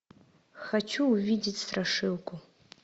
хочу увидеть страшилку